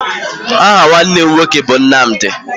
Aha nwanne m nwoke bụ Nnamdị